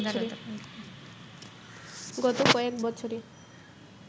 গত কয়েক বছরে